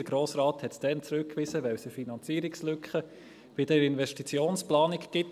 Der Grosse Rat wies es damals zurück, weil es eine Finanzierungslücke bei der Investitionsplanung gibt.